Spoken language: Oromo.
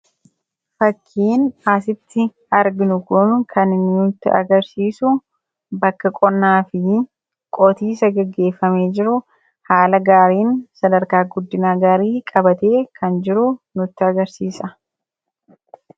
fakkiin asitti arginu kun kan nutti agarsiisu bakka qonnaa fi qotiisa gaggeeffamee jiru haala gaariin sadarkaa guddinaa gaarii qabatee kan jiru nutti agarsiisa.